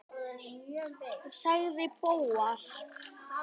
sagði Bóas.